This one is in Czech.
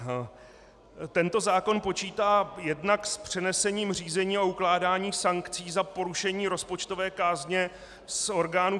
Tento zákon počítá jednak s přenesením řízení a ukládání sankcí za porušení rozpočtové kázně z orgánů